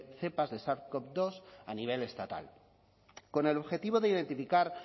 cepas de sars cov dos a nivel estatal con el objetivo de identificar